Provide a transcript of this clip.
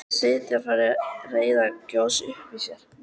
Stjáni fann reiðina gjósa upp í sér.